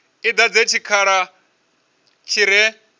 i dadze tshikhala tshi re